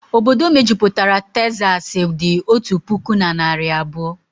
Obodo mejupụtara Tezasi dị otu puku na narị abụọ